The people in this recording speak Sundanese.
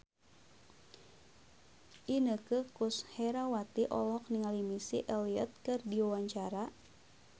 Inneke Koesherawati olohok ningali Missy Elliott keur diwawancara